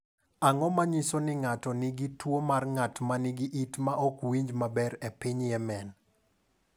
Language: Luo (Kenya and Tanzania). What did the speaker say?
Ang’o ma nyiso ni ng’ato nigi tuwo mar ng’at ma nigi it ma ok winjo maber e piny Yemen?